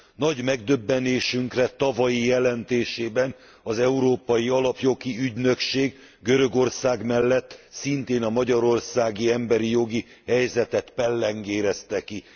Nagy megdöbbenésünkre tavalyi jelentésében az Európai Alapjogi Ügynökség Görögország mellett szintén a magyarországi emberi jogi helyzetet pellengérezte ki.